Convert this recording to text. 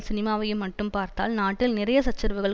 சினிமாவையும் மட்டும் பார்த்தால் நாட்டில் நிறைய சச்சரவுகள்